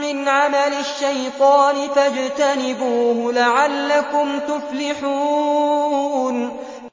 مِّنْ عَمَلِ الشَّيْطَانِ فَاجْتَنِبُوهُ لَعَلَّكُمْ تُفْلِحُونَ